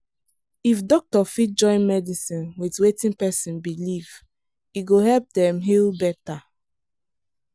if doctor fit join medicine with wetin person believe e go help dem heal better.